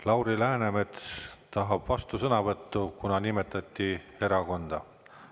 Lauri Läänemets tahab vastusõnavõttu, kuna nimetati erakonda.